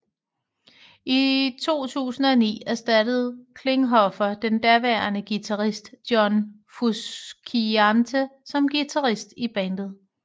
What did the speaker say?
I 2009 erstattede Klinghoffer den daværende guitarist John Frusciante som guitarist i bandet